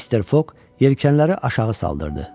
Mister Foq yelkənləri aşağı saldırdı.